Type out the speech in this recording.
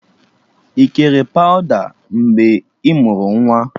Ị kere pawụda mgbe ị mụrụ nwa?